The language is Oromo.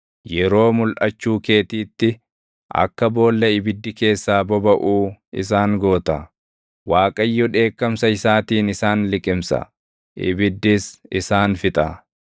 Yeroo mulʼachuu keetiitti, akka boolla ibiddi keessaa bobaʼuu isaan goota. Waaqayyo dheekkamsa isaatiin isaan liqimsa; ibiddis isaan fixa.